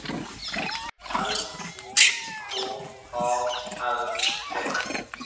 L O K A L T